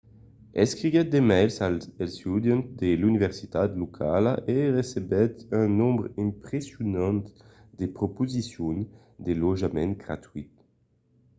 escriguèt de mails als estudiants de l’universitat locala e recebèt un nombre impressionant de proposicions de lotjament gratuït